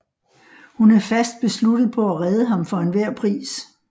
Hun er fast besluttet på at redde ham for enhver pris